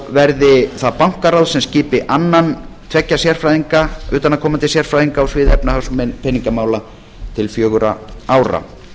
verði það bankaráð sem skipi annan tveggja utanaðkomandi sérfræðinga á sviði efnahags og peningamála til fjögurra ára